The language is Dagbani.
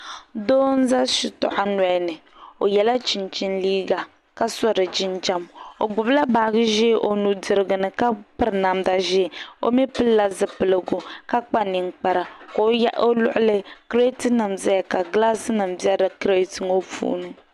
Doo n ʒɛ shitoɣu nolini o yɛla chinchin liiga ka so di jinjɛm o gbubila baaji ʒiɛ o nudirigu ni ka piri namda ʒiɛ o mii pilila zipiligu ka kpa ninkpara ka o luɣuli kirɛt nik ƶɛya ka gilaas nim bɛ kirɛt nim ŋo puuni